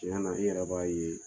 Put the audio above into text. Tiɲɛ na i yɛrɛ b'a ye